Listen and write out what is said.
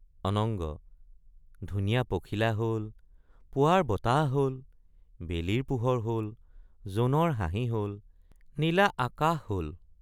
অনঙ্গ—ধুনীয়া পখিলা হল পুৱাৰ বতাহ হল বেলিৰ পোহৰ হল জোনৰ হাঁহি হল নীলা আকাশ হল!